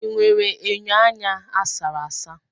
Ị nwere enyo anya a sara asa?